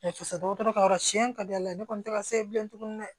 Dɔgɔtɔrɔ ka yɔrɔ siyɛn ka di ala ye ne kɔni tɛ ka se bilen tuguni dɛ